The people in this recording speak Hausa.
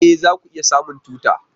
E! za ku iya samun tuta.